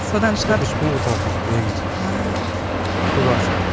содан шығар кофе ішпеймін ғой таңертеңгісін негізі содан шығар